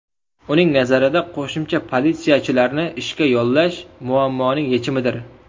Uning nazarida, qo‘shimcha politsiyachilarni ishga yollash muammoning yechimidir.